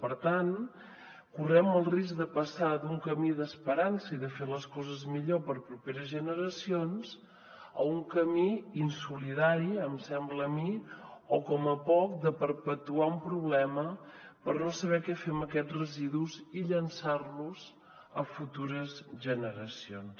per tant correm el risc de passar d’un camí d’esperança i de fer les coses millor per a properes generacions a un camí insolidari em sembla a mi o com a poc de perpetuar un problema per no saber què fer amb aquests residus i llençar los a futures generacions